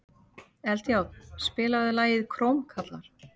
Eldjárn, spilaðu lagið „Krómkallar“.